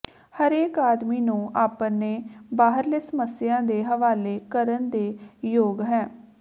ਹਰੇਕ ਆਦਮੀ ਨੂੰ ਆਪਣੇ ਬਾਹਰਲੇ ਸਮੱਸਿਆ ਦੇ ਹਵਾਲੇ ਕਰਨ ਦੇ ਯੋਗ ਹੈ